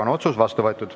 Otsus on vastu võetud.